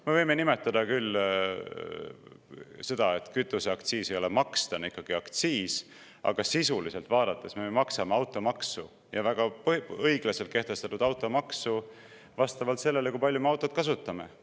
Me võime küll, et kütuseaktsiis ei ole maks, ta on ikkagi aktsiis, aga sisuliselt vaadates me maksame automaksu, ja väga õiglaselt kehtestatud automaksu, vastavalt sellele, kui palju me autot kasutame.